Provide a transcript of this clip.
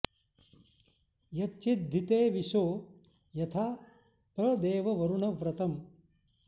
यच्चि॒द्धि ते॒ विशो॑ यथा॒ प्र दे॑व वरुण व्र॒तम्